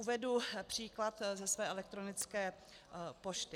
Uvedu příklad ze své elektronické pošty.